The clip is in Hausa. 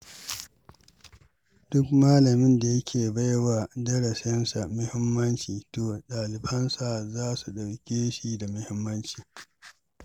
Duk malamin da yake baiwa darasinsa muhimmanci to, ɗalibansa za su ɗauke shi da muhimmanci.